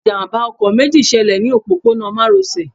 Ìjàmbá ọkọ̀ méjì ṣẹlẹ̀ ní òpópónà márosẹ̀